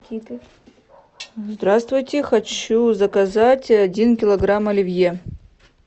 здравствуйте хочу заказать один килограмм оливье